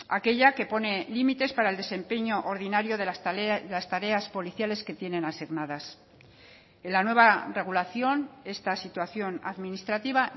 aquella que pone límites para el desempeño ordinario de las tareas policiales que tienen asignadas en la nueva regulación esta situación administrativa